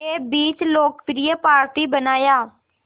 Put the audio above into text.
के बीच लोकप्रिय पार्टी बनाया